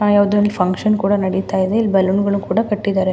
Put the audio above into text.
ಯಾವುದೊ ಒಂದು ಫುನ್ಕ್ಷನ್ ನಡೀತಾ ಇದೆ ಇಲ್ಲಿ ಬಲೂನ್ ಗಳು ಕೂಡ ಕಟ್ಟಿದ್ದಾರೆ.